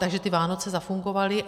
Takže ty Vánoce zafungovaly.